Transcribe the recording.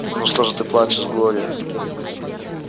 ну что же ты плачешь глория